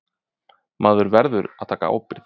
Maður verður að taka ábyrgð.